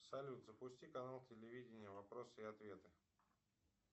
салют запусти канал телевидение вопросы и ответы